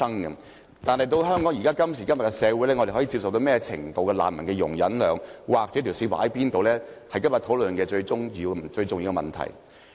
然而，今時今日的香港社會，我們對難民能有何種程度的容忍量，應把界線劃定在哪處，是今天這項討論的最重要課題。